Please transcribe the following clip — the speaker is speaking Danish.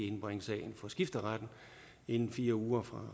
indbringe sagen for skifteretten inden fire uger